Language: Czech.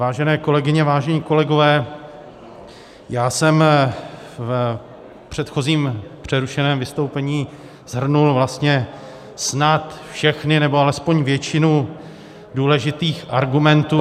Vážené kolegyně, vážení kolegové, já jsem v předchozím, přerušeném vystoupení shrnul vlastně snad všechny nebo alespoň většinu důležitých argumentů -